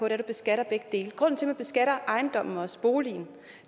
at man beskatter begge dele grunden til man beskatter boligen